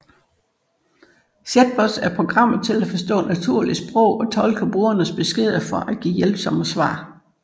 Chatbots er programmeret til at forstå naturligt sprog og tolke brugernes beskeder for at give hjælpsomme svar